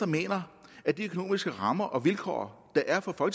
mener at de økonomiske rammer og vilkår der er for